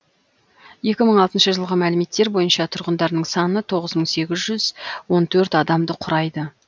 екі мың алтыншы жылғы мәліметтер бойынша тұрғындарының саны тоғыз мың сегіз жүз он төрт адамды құрайды